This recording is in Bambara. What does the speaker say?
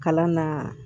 Kalan na